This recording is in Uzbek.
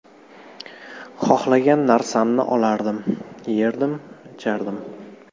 Xohlagan narsamni olardim, yerdim, ichardim.